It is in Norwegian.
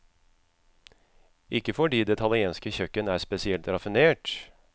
Ikke fordi det italienske kjøkken er spesielt raffinert.